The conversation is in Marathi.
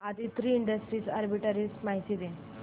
आदित्रि इंडस्ट्रीज आर्बिट्रेज माहिती दे